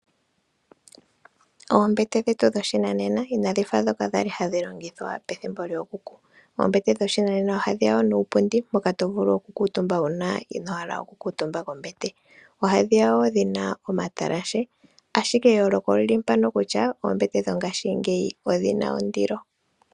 Oombete dhetu dhoshinanena inadhifa dhoka dhali hadhi longithwa pethimbo lyookuku. Oombete dhoshinanena oha dhiya wo nuupundi mboka tawu vulu okukutumba uuna inohala okukutumba kombete. Oha dhiya wo dhina omatalashe ashike eyooloko olyili mpano kutya oombete dhongashingeyi odhina ondilo.